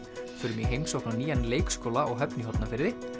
förum í heimsókn á nýjan leikskóla á Höfn í Hornafirði